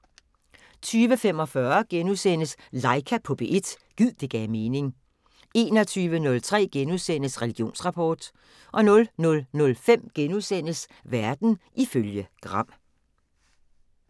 20:45: Laika på P1 – gid det gav mening * 21:03: Religionsrapport * 00:05: Verden ifølge Gram *